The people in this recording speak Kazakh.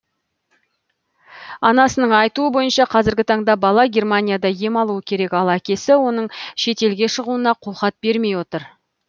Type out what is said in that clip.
анасының айтуы бойынша қазіргі таңда бала германияда ем алуы керек ал әкесі оның шетелге шығуына қолхат бермей отыр